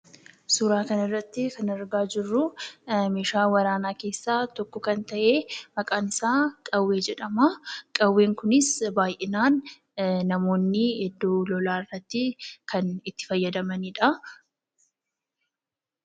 Suuraa kanarratti kan argaa jirruu meeshaa waraanaa keessaa tokko kan ta'ee, maqaan isaa qawwee jedhamaa. Qawween kunis baay'inaan iddoo lolaatti kan itti fayyadamanidha.